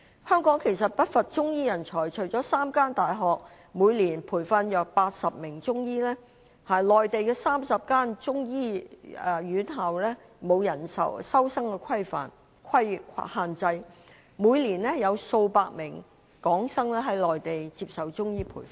香港其實不乏中醫人才，除了3間大學每年培訓約80名中醫，內地30間中醫院校並沒有收生人數限制，每年有數百名港生在內地接受中醫培訓。